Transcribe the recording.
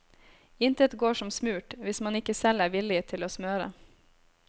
Intet går som smurt, hvis man ikke selv er villig til å smøre.